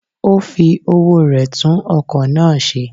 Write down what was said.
O fi owó re tun okò náà se